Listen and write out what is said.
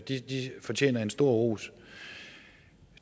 de de fortjener en stor ros